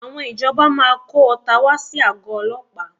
Àwọn ìjọba máa kó ọta wá sí àgọ́ ọlọ́pàá